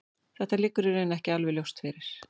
Þetta liggur í raun ekki alveg ljóst fyrir.